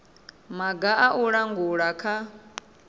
maga a u langula kha